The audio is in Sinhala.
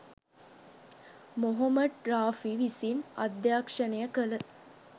මොහොමඩ් රාෆි විසින් අධ්‍යක්ෂණය කල